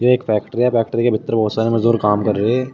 एक फैक्ट्री है फैक्ट्री के भीतर बहोत सारे मजदूर काम कर रहे--